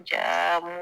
Jaa